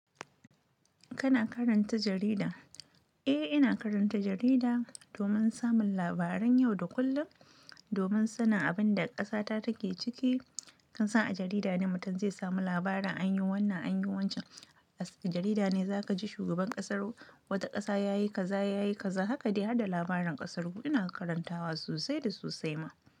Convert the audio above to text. Kana karanta jarida? Eh, ina karanta jarida domin samun labaran yau da kullum, domin sanin abin da ƙasata take ciki. Kan sa a jarida ne mutum zai samu labarin an yi wannan, an yi wancan. A jarida ne za ka ji shugaban ƙasar wata ƙasa ya yi kaza, ya yi kaza. Haka dai har da labaran ƙasar ku. Ina karantawa sosai da sosai ma.